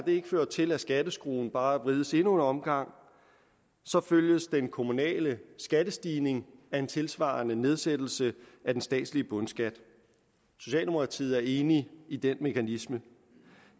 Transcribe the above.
ikke fører til at skatteskruen bare vrides endnu en omgang følges den kommunale skattestigning af en tilsvarende nedsættelse af den statslige bundskat socialdemokratiet er enig i den mekanisme